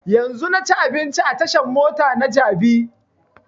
Yanzun na ci abinci a tashan mota na jabi